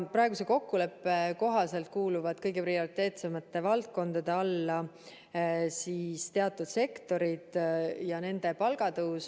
Praeguse kokkuleppe kohaselt kuuluvad kõige prioriteetsemate valdkondade alla teatud sektorid ja nende palgatõus.